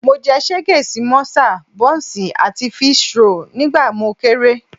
Mo jẹ ṣégè sí mọ́sà, bọ́ǹsì àti fííṣí roòlù nígbà mo kéré